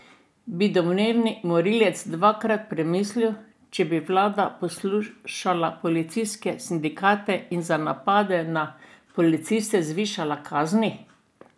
Bi domnevni morilec dvakrat premislil, če bi vlada poslušala policijske sindikate in za napade na policiste zvišala kazni?